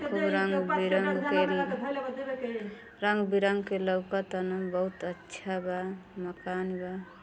खूब रंग बिरंग के रंग बिरंग के लऊकतान। बहुत अच्छा बा। मकान बा।